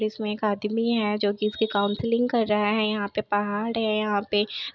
इसमें एक आदमी है जो की इसके कॉउन्सिलिंग कर रहा है यहाँ पे पहाड़ है यहाँ पे।